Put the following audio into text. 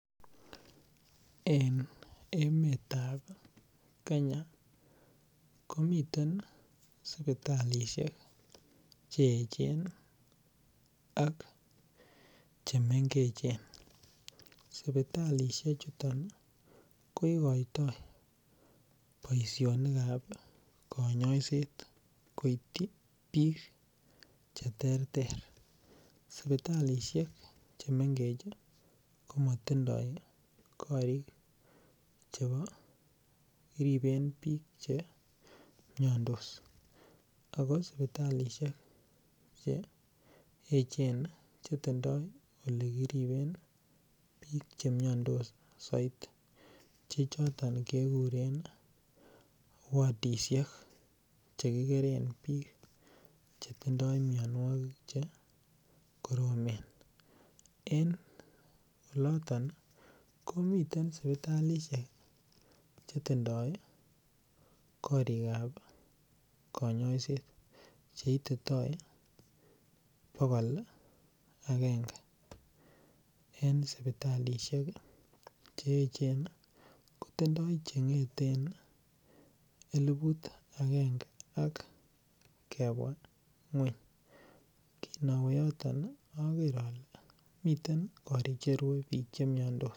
en emet ab kenya komiten sipitalishek cheechen ak chemengechen, sipitalishek chuton koigoitoo boishonik ab koinyoiseet koityi biik cheterter, sipitalishek chemengech komotindoo koriik chebo chegiribeen biik chemyondoos, ago sipitalishek cheechen chetindoo olegiribeen biik chemyondos soiti chechoton keguren wodishek chegigeren biik chetindoo myonwogik chegoromen, en loloton komiten sipitaishek chetindoo koriik ab koinyoisheet cheititoi bogool agenge, en sipitalishek cheechen kotindoo chengeteen elifut agenge ak kebwa ngweny, kinowee yoton ogeer ole miten koriik cherue biik chemyondoos.